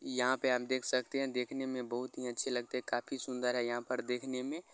इ यहां पे आप देख सकते हैं देखने में बहुत ही अच्छे लगते हैं काफी सुंदर है यहां पर देखने में।